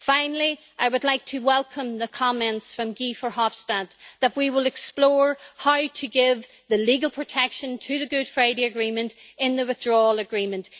Finally, I would like to welcome the comments from Guy Verhofstadt that we will explore how to give legal protection to the Good Friday Agreement in the Withdrawal Agreement.